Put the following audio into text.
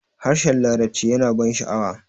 harshen larabci yana ban sha'awa